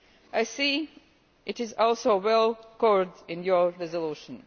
I see it is also well covered in your resolution.